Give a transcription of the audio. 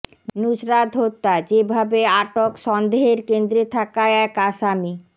নুসরাত হত্যা যেভাবে আটক সন্দেহের কেন্দ্রে থাকা এক আসামি